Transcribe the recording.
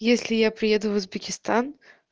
если я приеду в узбекистан